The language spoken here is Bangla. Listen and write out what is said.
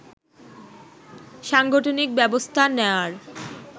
সাংগঠনিক ব্যবস্থা নেয়ার